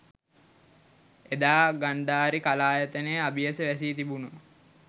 එදා ගන්ධාරි කලායතනය අබියස වැසී තිබුණු